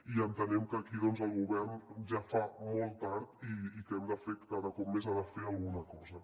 i entenem que aquí doncs el govern ja fa molt tard i que cada cop més ha de fer alguna cosa